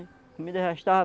A comida já estava